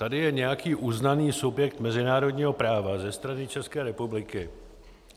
Tady je nějaký uznaný subjekt mezinárodního práva ze strany České republiky.